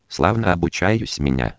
славно обучаюсь меня